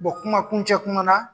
Bon kumakun cɛ kuma na.